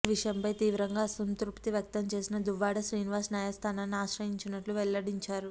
ఈ విషయంపై తీవ్రంగా అసంతృప్తి వ్యక్తం చేసిన దువ్వాడ శ్రీనివాస్ న్యాయస్థానాన్ని ఆశ్రయించనున్నట్లు వెల్లడించారు